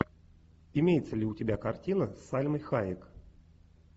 имеется ли у тебя картина с сальмой хайек